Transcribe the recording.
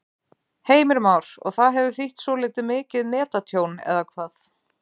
Heimir Már: Og það hefur þýtt svolítið mikið netatjón, eða hvað?